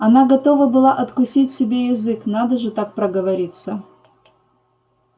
она готова была откусить себе язык надо же так проговориться